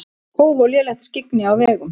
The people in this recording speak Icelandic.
Kóf og lélegt skyggni á vegum